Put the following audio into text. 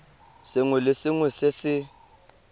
sengwe le sengwe se se